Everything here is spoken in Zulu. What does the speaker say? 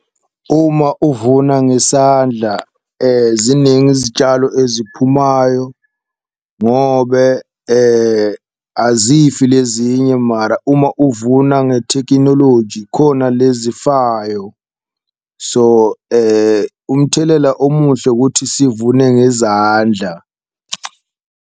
Uma uvuna ngesandla ziningi izitshalo eziphumayo ngobe azifi lezinye, mara uma uvuna ngethekinoloji khona lezifayo. So umthelela omuhle kuthi sivune ngezandla.